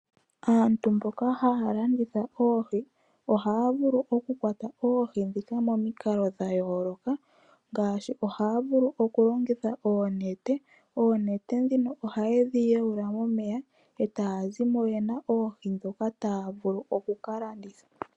Aantu mboka haya landitha oohi ohaya vulu oku kwata oohi dhika momikalo dha yooloka ngaashi ohaya vulu okulongitha oonete, oonete dhino ohaye dhi yawula momeya e taa zimo yena oohi dhoka taa vulu oku ka landitha.